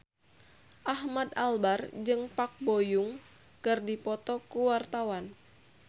Ahmad Albar jeung Park Bo Yung keur dipoto ku wartawan